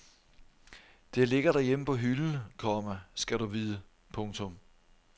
Det ligger derhjemme på hylden, komma skal du vide. punktum